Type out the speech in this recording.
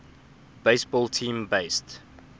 baseball team based